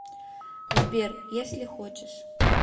сбер если хочешь